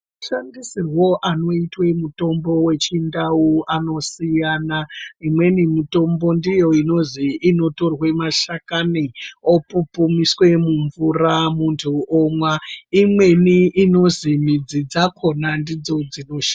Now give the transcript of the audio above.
Mashandisirwo anoitwa mutombo vezvindau anosiyana. Imweni mitombo ndiyo inozi inotorwe mashakani opupumiswe mumvura muntu omwa. Imweni inozi midzi dzakona ndidzo dzinoshandiswa.